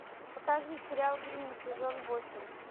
покажи сериал гримм сезон восемь